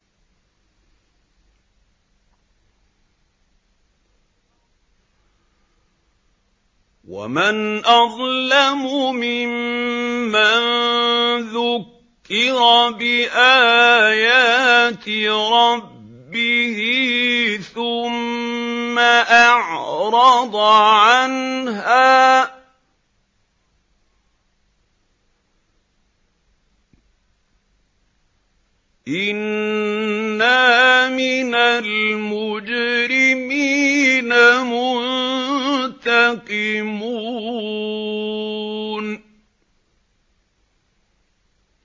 وَمَنْ أَظْلَمُ مِمَّن ذُكِّرَ بِآيَاتِ رَبِّهِ ثُمَّ أَعْرَضَ عَنْهَا ۚ إِنَّا مِنَ الْمُجْرِمِينَ مُنتَقِمُونَ